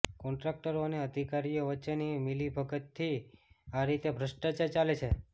કોન્ટ્રાક્ટરો અને અધિકારીઓ વચ્ચેની મિલીભગતથી આ રીતે ભ્રષ્ટાચાર ચાલે છે